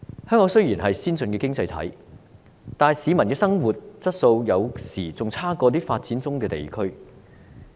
香港雖然是先進的經濟體，但市民的生活質素有時比發展中地區還要差。